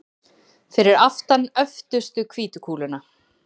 Fyrir aftan öftustu hvítu kúluna.